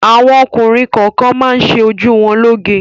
Àwọn ọkùnrin kọọkan máa ń ṣe ṣojú wọn lóoge.